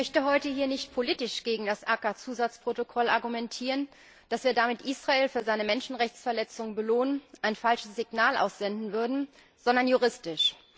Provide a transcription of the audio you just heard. Ich möchte heute hier nicht politisch gegen das CAA Zusatzprotokoll argumentieren, dass wir damit Israel für seine Menschenrechtsverletzungen belohnen, ein falsches Signal aussenden würden, sondern juristisch.